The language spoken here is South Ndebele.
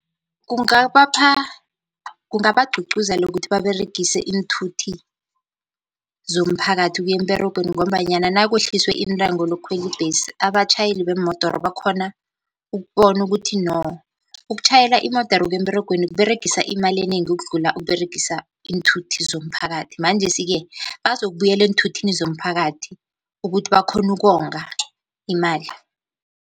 Kungabapha kungabagcugcuzela ukuthi baberegise iinthuthi zomphakathi ukuya emberegweni, ngombanyana nakwehliswe intengo lokukhwela ibhesi abatjhayeli beemodoro bakhona ukubona, ukuthi no ukutjhayela imodere ukuya emberegweni kUberegisa imali enengi ukudlula ukUberegisa iinthuthi zomphakathi. Manjesi-ke bazokubuyela enthuthini zomphakathi ukuthi bakhone ukonga imali.